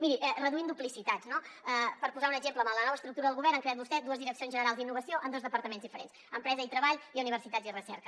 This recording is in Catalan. miri reduint duplicitats no per posar ne un exemple amb la nova estructura del govern han creat vostès dues direccions generals d’innovació en dos departaments diferents empresa i treball i universitats i recerca